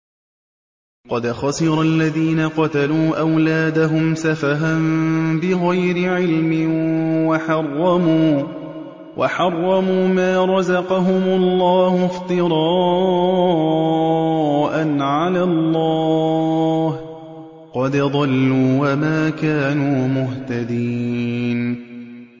قَدْ خَسِرَ الَّذِينَ قَتَلُوا أَوْلَادَهُمْ سَفَهًا بِغَيْرِ عِلْمٍ وَحَرَّمُوا مَا رَزَقَهُمُ اللَّهُ افْتِرَاءً عَلَى اللَّهِ ۚ قَدْ ضَلُّوا وَمَا كَانُوا مُهْتَدِينَ